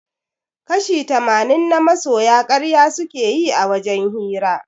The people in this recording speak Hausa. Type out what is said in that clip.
Kashi tamanin na masoya karya suke yi a wajen hira